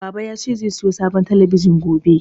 Baba ya ce zai sayo sabon talabijin gobe